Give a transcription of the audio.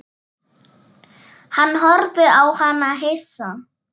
Hann horfði á hana hissa.